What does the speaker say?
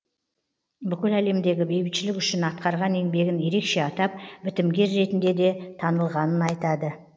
бүкіл әлемдегі бейбітшілік үшін атқарған еңбегін ерекше атап бітімгер ретінде де танылғанын айтады